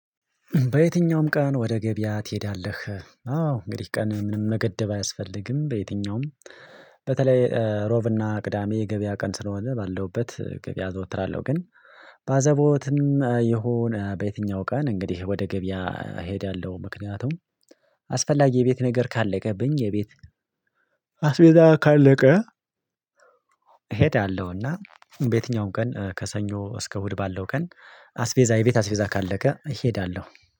በየትኛውም ቀን ወደ ገበያ ትሄዳለ? አዎ እንግዲህ ቀን ምንም መገደብ አያስፈልግም በየትኛውም በተለይ ሮብና ቅዳሜ ገበያ ቀን ስለሆነ ባለሁበት ገበያ ዘወትር አለው ግን በአዘቦትም የሆነ በየትኛው ቀን እንግዲህ ወደ ገበያ እሄዳለሁ ምክንያቱም አስፈላጊ የቤት ነገር ካለቀብኝ የቤት አስሜዛ ካለቀ እሄዳለሁና በየትኛውም ቀን ከሰኞ እስከ እሁድ ባለው ቀን አስቬዛ የቤት አስቬዛ ካለቀ እሄዳለሁ።